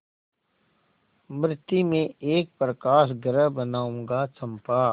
मृति में एक प्रकाशगृह बनाऊंगा चंपा